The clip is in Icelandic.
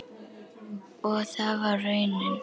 Og það varð raunin.